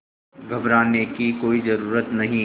घबराने की कोई ज़रूरत नहीं